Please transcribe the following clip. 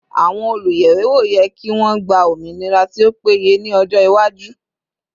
Àwọn oluyẹwewo yẹ kí wọn gba ominira tí ó péye ni ọjọ iwaju